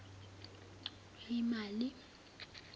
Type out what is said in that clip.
lweyimali